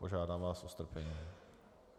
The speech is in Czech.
Požádám vás o strpení.